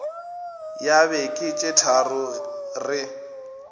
ya beke tše tharo re